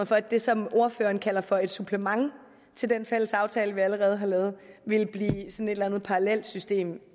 for at det som ordføreren kalder for et supplement til den fælles aftale vi allerede har lavet vil blive et eller andet parallelt system